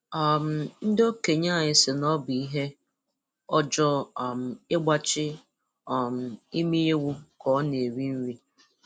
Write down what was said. um Ndị okenye anyị sị na ọ bụ ihe ọjọọ um ịgbachi um imi ewu ka ọ na-eri nri.